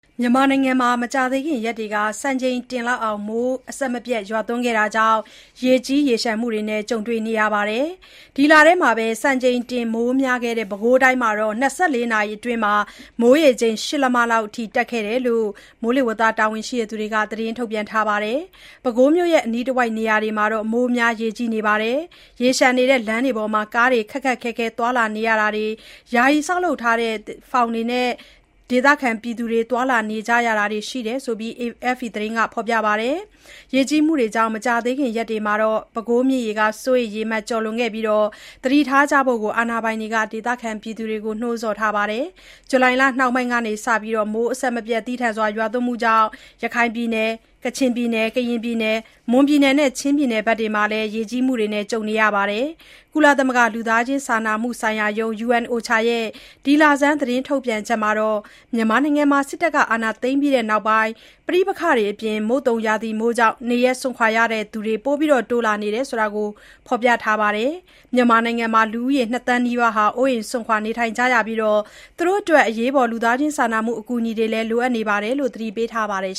မြန်မာနိုင်ငံမှာ မကြာသေးခင်ရက်တွေက စံချိန်တင်မိုးရွာသွန်းခဲ့တာကြောင့် ရေကြီးမှုတွေနဲ့ ကြုံနေရပါတယ်။ ဒီလထဲ စံချိန်တင်မိုးများခဲ့တဲ့ ပဲခူးတိုင်းမှာ ၂၄ နာရီအတွင်း မိုးရေချိန် ၈ လက်မလောက်အထိ ရှိခဲ့တယ်လို့လည်း တာဝန်ရှိသူတွေက သတင်းထုတ်ပြန်ခဲ့တာပါ။ ပဲခူးမြို့နဲ့ အနီးတဝိုက်နေရာတွေမှာ မိုးများရေကြီးနေပြီး ရေလျှံနေတဲ့ လမ်းတွေပေါ်မှာ ကားတွေ ခက်ခက်ခဲခဲ သွားလာနေရတာတွေ၊ ယာယီဆောက်လုပ်ထားတဲ့ ဖောင်တွေနဲ့ ဒေသခံတွေ သွားလာနေရတာတွေရှိတယ်လို့ AFP သတင်းက ဖော်ပြပါတယ်။ ရေကြီးမှုတွေကြောင့် မကြာခင်ရက်တွေမှာ ပဲခူးမြစ်ရေ စိုးရိမ်ရေမှတ် ကျော်လွန်နိုင်ပြီး သတိထားကြဖို့လည်း အာဏာပိုင်တွေက ဒေသခံတွေကို နှိုးဆော်ထားပါတယ်။ ဇူလိုင်လနှောင်းပိုင်းကစ မိုးသည်းထန်စွာ ရွာသွန်းမှုတွေကြောင့် ရခိုင်၊ ကချင်၊ ကရင်၊ မွန်နဲ့ ချင်းပြည်နယ်တွေမှာ ရေကြီးမှုတွေ ကြုံခဲ့ရတာပါ။ ကုလသမဂ္ဂ လူသားချင်းစာနာမှုဆိုင်ရာရုံး (UNOCHA) ရဲ့ ဒီလဆန်း သတင်းထုတ်ပြန်ချက်မှာတော့ မြန်မာနိုင်ငံမှာ စစ်အာဏာသိမ်းပြီးနောက်ပိုင်း ပဋိပက္ခတွေနဲ့ မုတ်သုန်ရာသီမိုးကြောင့် နေရပ်စွန့်ခွာရသူတွေ တိုးလာနေကြောင်း ဖော်ပြထားပါတယ်။ မြန်မာနိုင်ငံမှာ လူ ၂ သန်းနီးပါး အိုးအိမ်စွန့်ခွာနေထိုင်နေကြရပြီး၊ အရေးပေါ် အကူအညီတွေလိုအပ်နေတယ်လို့ သတိပေးထားပါတယ်